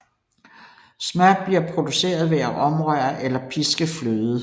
Smør bliver produceret ved at omrøre eller piske fløde